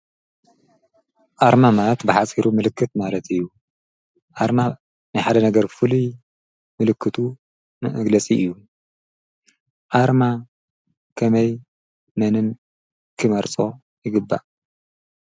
ኣርማ ማለት ብሓፂሩ ምልክት ማለት እዩ፡፡ ኣርማ ናይ ሓደ ነገር ፍሉይ ምልክቱ መግለፂ እዩ፡፡ ኣርማ ከመይ መንን ክመርፆ ይግባእ?